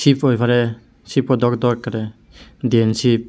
ship oi parey shipo dok dok ekkerey diyan ship.